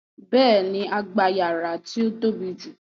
Béèni, a gba yàrá tí ó tóbi jù